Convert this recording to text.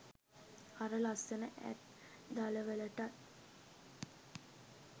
අර ලස්සන ඇත් දළවලටත්